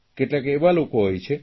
કેટલાક એવા લોકો હોય છે